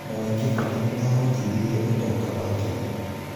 Mwai Kibaki nĩ aahotithirie ũtonga wa Kenya.